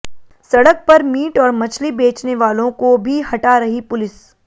सड़क पर मीट और मछली बेचने वालों को भी हटा रही पुलिस